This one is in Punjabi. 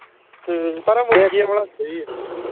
ਹਮ ਪਰ ਜੇ ਦੂਜੇ ਸਹੀ ਆ